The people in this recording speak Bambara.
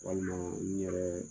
Walima n yɛrɛ